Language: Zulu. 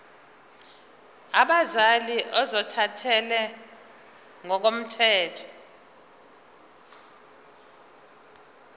abazali ozothathele ngokomthetho